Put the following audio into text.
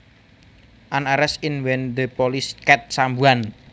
An arrest is when the police catch someone